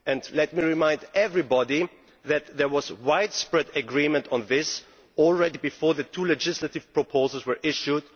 Let me remind everybody that there was widespread agreement on this even before the two legislative proposals were issued.